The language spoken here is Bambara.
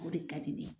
O de ka di ne ye